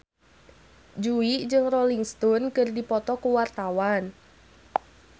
Jui jeung Rolling Stone keur dipoto ku wartawan